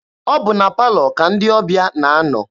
Ọ bụ na palọ ka ndị ọbịa na-anọ.